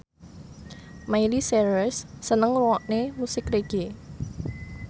Miley Cyrus seneng ngrungokne musik reggae